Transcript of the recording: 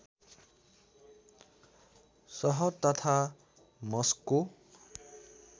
सहर तथा मस्को